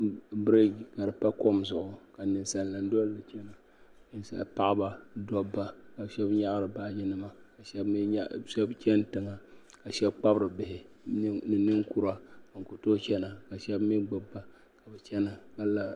Biriji ka di pa kɔm zuɣu ka ninsali nima dɔlli chana paɣaba dɔbba ka shɛba nyaɣiri baaji nima ka shɛba chani tiŋa ka shɛba kpabiri bihi ni ninkura bin ku tooyi chana ka shɛba mi gbubi ba n chana ka lara.